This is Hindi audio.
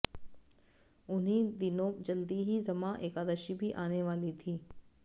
उन्हीं दिनों जल्दी ही रमा एकादशी भी आने वाली थी